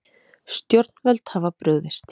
Stjórnvöld hafa brugðist